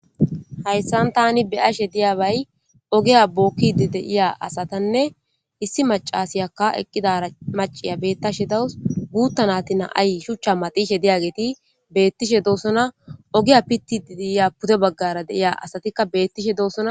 Jayssan tani beyashe diyaabay ogiya bookkidi de'iya asatanne issi macasiyakka eqqidara maciya beettshe dawus. Guutta nati na'ay shuchcha maxishe diyageeti beettishe doossona. Ogiya pittidi diiya pude baggara de'iya asatikka beettishe doossona.